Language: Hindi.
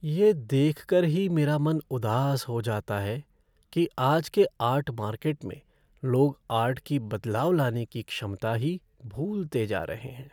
ये देखकर ही मेरा मन उदास हो जाता है कि आज के आर्ट मार्केट में लोग आर्ट की बदलाव लाने की क्षमता ही भूलते जा रहे हैं।